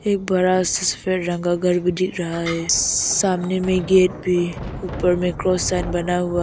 एक बड़ा सफेद रंग का घर भी दिख रहा है सामने में गेट भी ऊपर में क्रॉस साइन बना हुआ--